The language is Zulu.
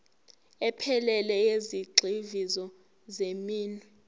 ephelele yezigxivizo zeminwe